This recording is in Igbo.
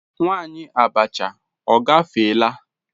Nwanyi abacha ogafeela?